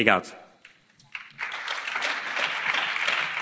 Herzlichen Dank, Herr Kommissar, für diese persönlichen Worte.